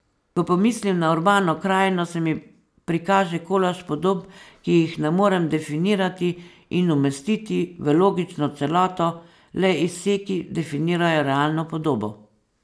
Ko pomislim na urbano krajino, se mi prikaže kolaž podob, ki jih ne morem definirati in umestiti v logično celoto, le izseki definirajo realno podobo.